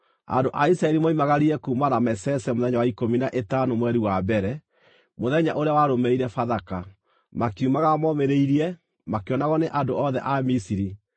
Andũ a Isiraeli moimagarire kuuma Ramesese mũthenya wa ikũmi na ĩtano mweri wa mbere, mũthenya ũrĩa warũmĩrĩire Bathaka. Makiumagara momĩrĩirie, makĩonagwo nĩ andũ othe a Misiri,